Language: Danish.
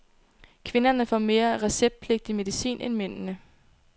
Kvinderne får mere receptpligtig medicin end mændene.